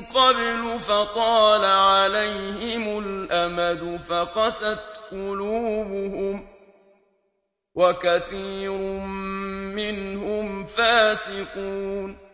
قَبْلُ فَطَالَ عَلَيْهِمُ الْأَمَدُ فَقَسَتْ قُلُوبُهُمْ ۖ وَكَثِيرٌ مِّنْهُمْ فَاسِقُونَ